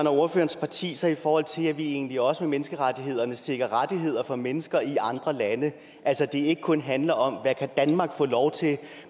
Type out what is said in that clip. og ordførerens partis sig i forhold til at vi egentlig også med menneskerettighederne sikrer rettigheder for mennesker i andre lande altså at det ikke kun handler om hvad danmark kan få lov til